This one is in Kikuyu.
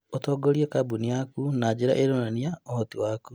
Ũtongorie kambuni yaku na njĩra ĩronania ũhoti waku.